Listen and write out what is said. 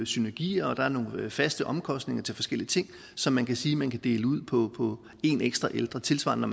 synergier og der er nogle faste omkostninger til forskellige ting som man kan sige man kan dele ud ud på én ekstra ældre tilsvarende